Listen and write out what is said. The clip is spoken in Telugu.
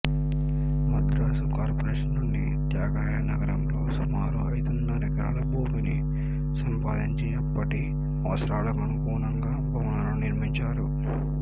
మద్రాసు కార్పొరేషన్ నుండి త్యాగరాయ నగరంలో సుమారు ఐదున్నర ఎకరాల భూమిని సంపాదించి అప్పటి అవసరాలకనుగుణంగా భవనాలను నిర్మించారు